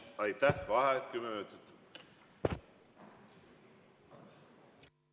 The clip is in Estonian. Vaheaeg kümme minutit.